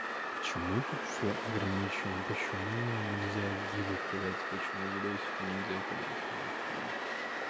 почему тут все ограничена почему нельзя гибок кидайте почему видосики нельзя кидать господи